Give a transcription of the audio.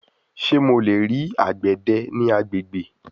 Ṣe Mo le rii agbede ni agbegbe